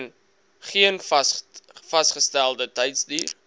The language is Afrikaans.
geen vasgestelde tydsduur